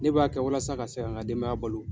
Ne b'a kɛ walasa ka se ka n ka denbaya balo.